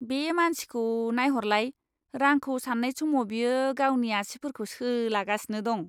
बे मानसिखौ नायहरलाय! रांखौ सान्नाय समाव बियो गावनि आसिफोरखौ सोलागासिनो दं।